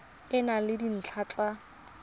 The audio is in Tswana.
e na le dintlha tsa